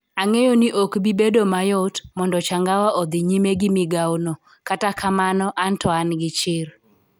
Ang'eyo ni ok bi bedo mayot mondo Changawa odhi nyime gi migawono, kata kamano an to an gi chir. "